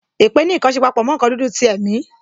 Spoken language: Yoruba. Èpè ní nkan ṣe papọ mo nkan dúdú ti ẹ̀mi